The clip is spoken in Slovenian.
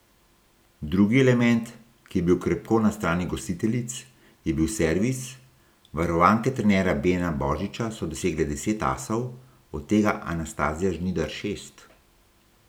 Drugi element, ki je bil krepko na strani gostiteljic, je bil servis, varovanke trenerja Bena božiča so dosegle deset asov, od tega Anastazija Žnidar šest.